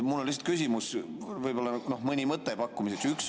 Mul on lihtsalt küsimus, võib-olla mõni mõte pakkuda.